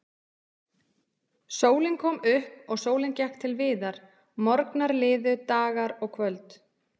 Sólin kom upp og sólin gekk til viðar, morgnar liðu, dagar og kvöld.